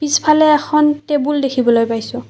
পিছফালে এখন টেবুল দেখিবলৈ পাইছোঁ।